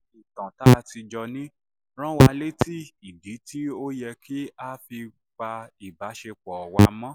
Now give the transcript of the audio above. ìtàn tá a ti jọ ní rán wa létí ìdí tó fi yẹ ká pa ìbáṣepọ̀ wa mọ́